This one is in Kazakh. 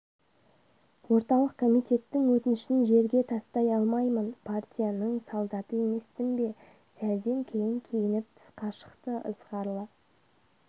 орталық комитеттің өтінішін жерге тастай алмаймын партияның солдаты емеспін бе сәлден кейін киініп тысқа шықты ызғарлы